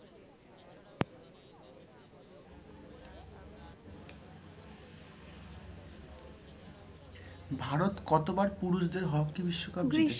ভারত কতবার পুরুষদের hockey বিশ্বকাপ জিতেছে?